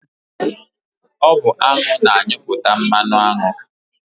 Ọ bụ aṅụ na-anyụpụta mmanụaṅụ.